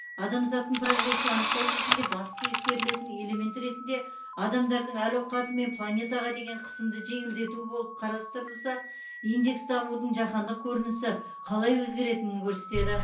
адамзаттың прогресін анықтау кезінде басты ескерілетін элемент ретінде адамдардың әл ауқаты мен планетаға деген қысымды жеңілдету болып қарастырылса индекс дамудың жаһандық көрінісі қалай өзгеретінін көрсетеді